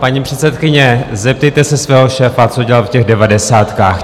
Paní předsedkyně, zeptejte se svého šéfa, co dělal v těch devadesátkách.